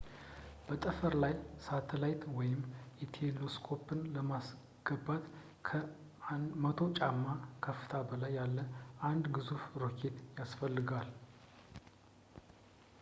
በጠፈር ላይ ሳተላይት ወይም ቴሌስኮፕን ለማስገባት ከ 100 ጫማ ከፍታ በላይ ያለው አንድ ግዙፍ ሮኬት ያስፈልጋል